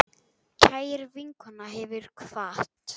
Kær vinkona hefur kvatt.